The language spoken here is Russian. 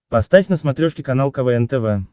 поставь на смотрешке канал квн тв